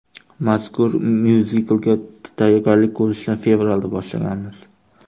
Mazkur myuziklga tayyorgarlik ko‘rishni fevralda boshlaganmiz.